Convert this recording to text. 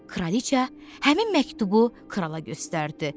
Kraliça həmin məktubu krala göstərdi.